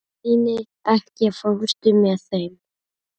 Steini, ekki fórstu með þeim?